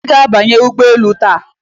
Iga abanye ugboelu taata?